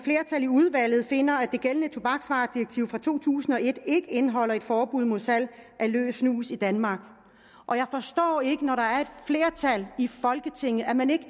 i udvalget finder at det gældende tobaksvaredirektiv fra to tusind og et ikke indeholder et forbud mod salg af løs snus i danmark og jeg forstår ikke når der er et flertal i folketinget at man ikke